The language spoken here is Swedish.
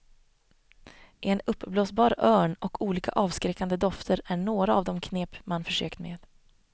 En uppblåsbar örn och olika avskräckande dofter är några av de knep man försökt med.